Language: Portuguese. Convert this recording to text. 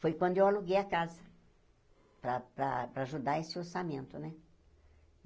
Foi quando eu aluguei a casa, para para para ajudar esse orçamento, né?